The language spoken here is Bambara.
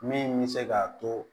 Min bɛ se k'a to